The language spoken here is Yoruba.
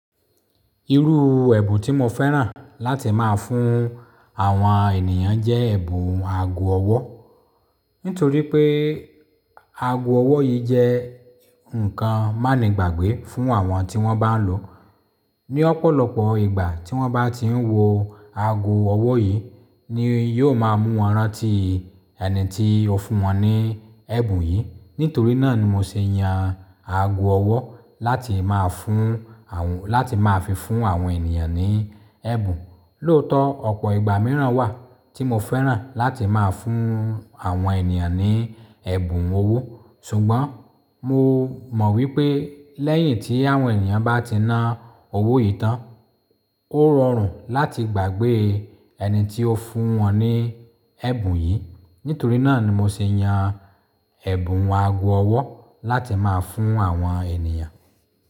Irú ẹ̀bùn tí mo fẹ́ràn láti máa fún àwọn ènìyàn jẹ́ ẹ̀bùn ago ọwọ́. Nítorí pé ago ọwọ́ yìí jẹ́ ǹkan má ní gbàgbé fún àwọn tí wọ́n bá lòó. Ni ọ̀pọ̀lọpọ̀ ìgbà tí wọ́n bá tiń wọ ago ọwọ́ yìí ni yóò máa mú wọn rántí ẹni tí ó fún wọn ní ẹ̀bùn yìí. Nítorí náà ni mo ṣe yan ago ọwọ́ láti máa fún àwọn, láti máa fi fún àwọn ènìyàn ní ẹ̀bùn. Lóòótọ́ ọ̀pọ̀ ìgbà mìíràn wà tí mo fẹ́ràn láti máa fún àwọn ènìyàn ní ẹ̀bùn owó. Ṣùgbọ́n mo mọ̀ wípé lẹ́yìn tí àwọn ènìyàn bá ti na owó yìí tán, ó rọrùn láti gbàgbé ẹni tí ó fún wọn ní ẹ̀bùn yìí. Nítorí náà ni mo ṣe yan ẹ̀bùn ago ọwọ́ láti máa fún àwọn ènìyàn.